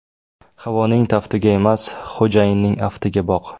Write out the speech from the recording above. Havoning taftiga emas, xo‘jayinning aftiga boq.